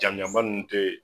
Jamu janba nunnu tɛ.